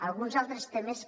alguns altres temes que